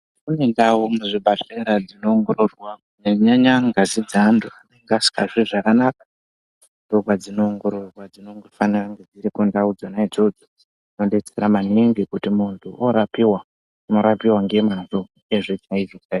Kune ndau muzvibhedhlera dzinongororwa kunyanya-nyanya ngazi dzeantu anenge asikazwi zvakanaka. Ndopadzinoongororwa dzinofanira kunge dziriko ndau dzona idzodzo. Dzinonobetsera maningi kuti muntu orapiva unorapiva ngemazvo.